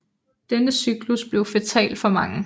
Denne cyklus blev fatal for mange